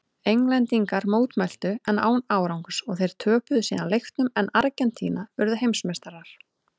Englendingar mótmæltu en án árangurs og þeir töpuðu síðan leiknum en Argentína urðu heimsmeistarar.